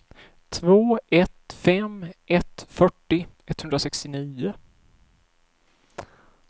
två ett fem ett fyrtio etthundrasextionio